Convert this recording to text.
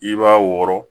I b'a wɔrɔ